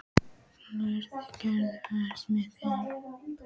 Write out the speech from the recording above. Freygerður, ekki fórstu með þeim?